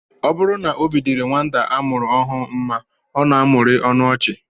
Ọ bụrụ na obi dịrị nwata a mụrụ ọhụụ mma, ọ na-amụrị ọnụ ọchị